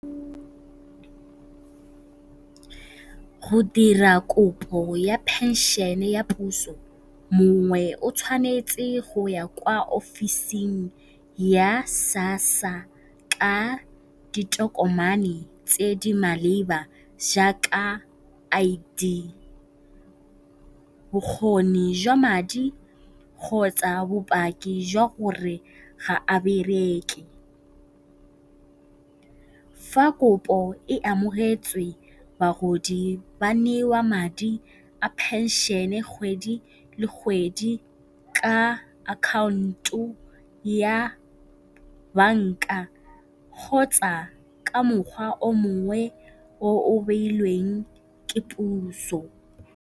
Go dira kopo ya phenšene ya puso mongwe o tshwanetse go ya kwa ofising ya SASSA ka ditokomane tse di maleba jaaka I_D, bokgoni jwa madi kgotsa bopaki jwa gore ga a bereke. Fa kopo e amogetswe bagodi ba newa madi a phenšene kgwedi le kgwedi ka account-o ya banka kgotsa ka mokgwa o mongwe o o beilweng ke puso.